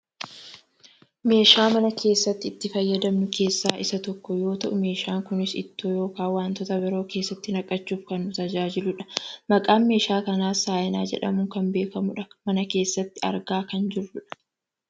Meeshaa mana keessatti itti fayyadamnu keessaa isa tokko yoo ta'u meeshaan kunis ittoo yookaan wantoota biroo keessatti naqachuuf kan nu tajaajiludha. Maqaan meeshaa kanaas saayinaa jedhamuun kan beekkamudha. Mana keessatti argaa kan jirrudha.